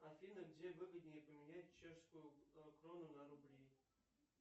афина где выгоднее поменять чешскую крону на рубли